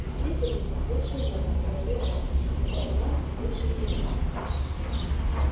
у слизеринцев лучшие метлы говорил он зато у нас лучшие игроки